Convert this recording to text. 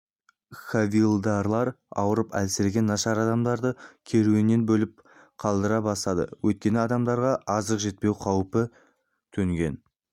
хавильдарлар ауырып әлсіреген нашар адамдарды керуеннен бөліп қалдыра бастады өйткені адамдарға азық жетпеу қаупі төнген